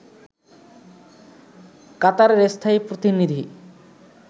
কাতারের স্থায়ী প্রতিনিধি